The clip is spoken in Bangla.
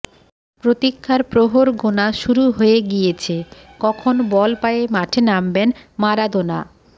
প্রতীক্ষার প্রহর গোনা শুরু হয়ে গিয়েছে কখন বল পায়ে মাঠে নামবেন মারাদোনা